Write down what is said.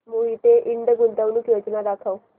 मोहिते इंड गुंतवणूक योजना दाखव